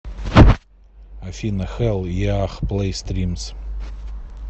афина хэлл еах плэй стримс